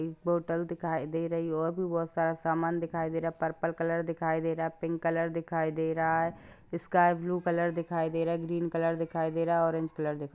एक होटल दिखाई दे रही है और भी बहुत सारा समान दिखाई दे रहा हैं पर्पल कलर दिखाई दे रहा है पिंक कलर दिखाई दे रहा है स्काई ब्लू कलर दिखाई दे रहा है ग्रीन कलर दिखाई दे रहा है ऑरेंज कलर दिखा --